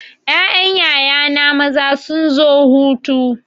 Ƴaƴan yaya na maza sun zo hutu.